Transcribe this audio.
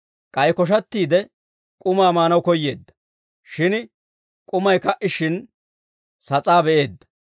K'ay koshattiide, k'umaa maanaw koyyeedda; shin k'umay ka"ishshin, sas'aa be'eedda.